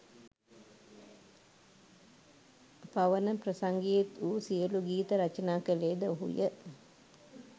පවන ප්‍රසංගයේත් වූ සියළු ගීත රචනා කළේද ඔහුය.